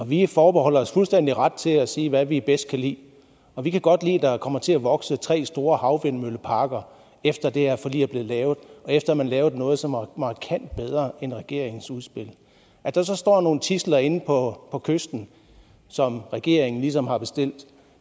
vi forbeholder os fuldstændig ret til at sige hvad vi bedst kan lide og vi kan godt lide at der kommer til at vokse tre store havvindmølleparker efter at det her forlig er blevet lavet og efter at man lavede noget som var markant bedre end regeringens udspil at der så står nogle tidsler inde på kysten som regeringen ligesom har bestilt